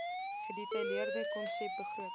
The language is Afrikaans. gedetailleerde konsep begroting